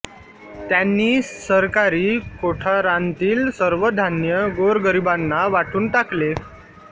त्यांनी सरकारी कोठारांतील सर्व धान्य गोरगरिबांना वाटून टाकले